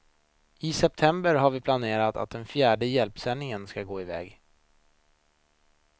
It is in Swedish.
I september har vi planerat att den fjärde hjälpsändningen skall gå iväg.